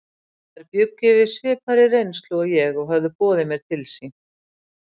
Þær bjuggu yfir svipaðri reynslu og ég og höfðu boðið mér til sín.